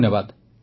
ଧନ୍ୟବାଦ